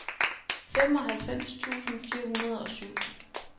femoghalvfems tusind fire hundrede og syv